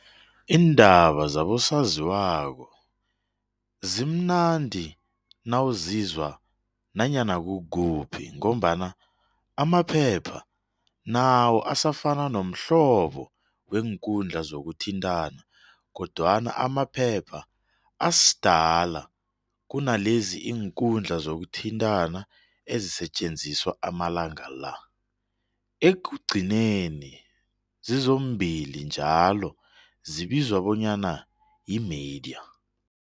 Iindaba zabosaziwako zimnandi nawuzizwa nanyana kukuphi ngombana amaphepha nawo asafana nomhlobo weenkhundla zokuthintana kodwana amaphepha asdala kunalezi iinkundla zokuthintana ezisetjenziswa amalangala la, ekugcineni zizombili njalo zibizwa bonyana yimidya.